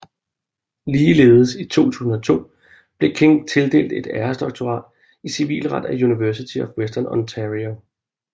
Ligeledes i 2002 blev King tildelt et æresdoktorat i civilret af University of Western Ontario